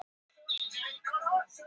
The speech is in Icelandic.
Uppdráttur að fyrstu ljósaperunni.